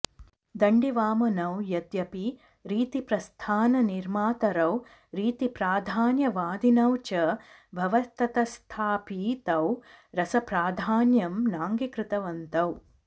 दण्डिवामनौ यद्यपि रीतिप्रस्थाननिर्मातारौ रीतिप्राधान्यवादिनौ च भवतस्तथापि तौ रसप्राधान्यं नाङ्गीकृतवन्तौ